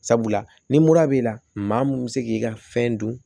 Sabula ni mura b'i la maa mun bɛ se k'i ka fɛn dun